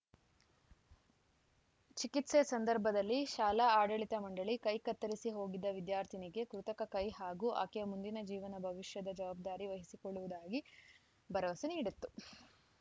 ಚಿಕಿತ್ಸೆ ಸಂದರ್ಭದಲ್ಲಿ ಶಾಲಾ ಆಡಳಿತ ಮಂಡಳಿ ಕೈ ಕತ್ತರಿಸಿ ಹೋಗಿದ್ದ ವಿದ್ಯಾರ್ಥಿನಿಗೆ ಕೃತಕ ಕೈ ಹಾಗೂ ಆಕೆಯ ಮುಂದಿನ ಜೀವನ ಭವಿಷ್ಯದ ಜವಾಬ್ದಾರಿ ವಹಿಸಿಕೊಳ್ಳುವುದಾಗಿ ಭರವಸೆ ನೀಡಿತ್ತು